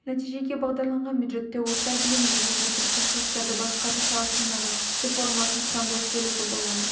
нәтижеге бағдарланған бюджеттеу орта білімде мемлекеттік шығыстарды басқару саласындағы реформалардың құрамдас бөлігі болады